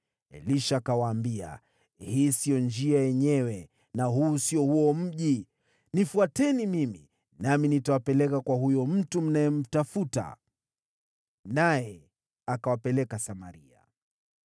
Elisha akawaambia, “Hii sio njia yenyewe, na huu sio huo mji. Nifuateni mimi, nami nitawapeleka kwa huyo mtu mnayemtafuta.” Naye akawapeleka Samaria.